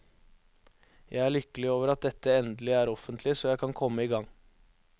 Jeg er lykkelig over at dette endelig er offentlig, så jeg kan komme i gang.